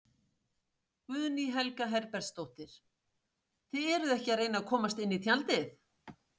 Guðný Helga Herbertsdóttir: Þið eruð ekki að reyna að komast inn í tjaldið?